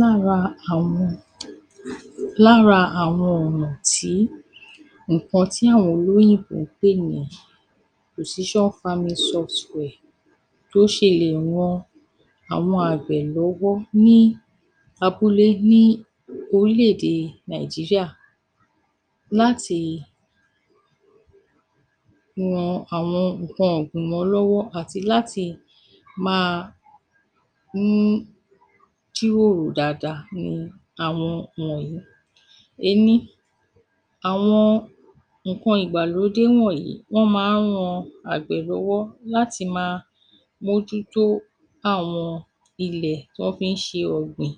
Lára àwọn, lára àwọn ọ̀nà tí nǹkan tí àwọn olóyìnbó ń pè ní position farming soft ware bó ṣe lè ran àwọn àgbẹ̀ lọ́wọ́ ní abúlé ní orílẹ̀-èdè Nigeria láti ran àwọn nǹkan ọ̀gbìn lọ́wọ́ àti láti máa mú kí wọn ó hù dáadáa nìwọ̀n yìí:- ení àwọn nǹkan ìgbàlódé wọ̀nyí máa ń ran àgbẹ̀ lọ́wọ́ láti máa mójútó àwọn ilẹ̀ tí wọ́n fi ń ṣe ọ̀gbìn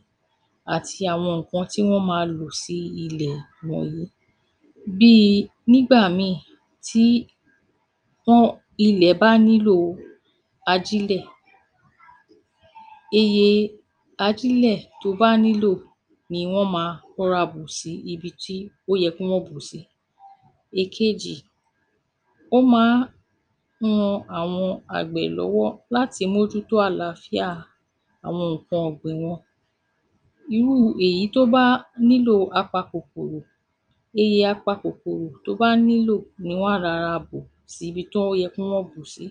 àti àwọn nǹkan tí wọń máa lò sí ilẹ̀ wọ̀nyí bíi nígbà míìì tí ilẹ̀ bá nílò ajílẹ̀, iye ajílẹ̀ tó bá nílò ni wọ́n máa rọra bù sí ibi tí ó yẹ kí wọn bù ú sí. Ekejì ó máa ń ran àwọn àgbẹ̀ lọ́wọ́ láti mójútó àlàáfíà àwọn nǹkan ọ̀gbìn wọn. Nínú èyí tó bá nílò apa-kòkòro iye apa-kòkòrò tó bá nílò ni wọn á rọra bù si ibi tó yẹ kí wọ́n bù ú sí.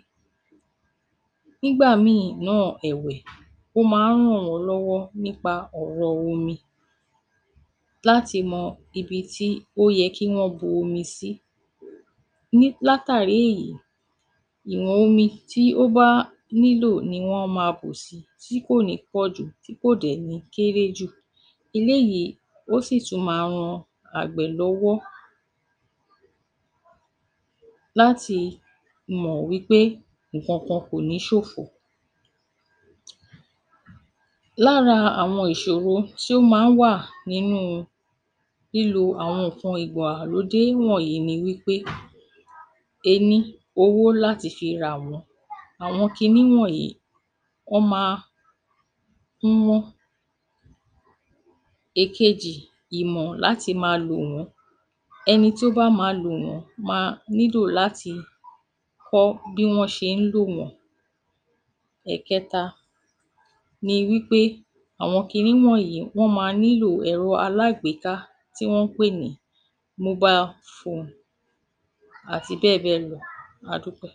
Nígbà mìíràn náà ẹ̀wẹ̀ ó máa ǹ ràn wọn lọ́wọ́ nípa ọ̀rọ̀ omi láti mọ ibi tí o yẹ kí wọ́n bu omi sí. Látàrí èyí, ìwọ̀n omi tó bá nílò omi ni wọ́n máa bù sí, tí kò ní pọ̀ jù tí kò dẹ̀ ní kèré jù. Eléyìí sì tún máa ń ran àgbẹ̀ lọ́wọ́ láti mọ̀ wí pé nǹkankan kò ní ṣòfò. Lára ìṣòro tó máa ń wà lára nǹkan ìgbailódé wọ̀nyi ni wí pé ení: owó láti fi rà wọ́n, àwọn kinní wọ̀nyi, wọ́n máa ń wọ́n. Ekejì: ìmọ̀ láti máa lò wọ́n. Ẹni tó báa lò wọn, wọn á nílo kíkọ́ bí wọn á ti màa lò wọ́n. Ẹ̀kẹta ni wí pé àwọn kinní wọ̀nyí máa nílò ẹ̀rọ alágbèéka tí wọ́n ń pè ní mobile phone àti bẹ́ẹ̀ bẹ́ẹ̀ lọ. A dúpẹ́.